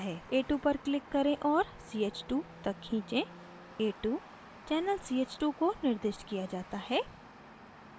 a2 पर click करें और ch2 तक खींचें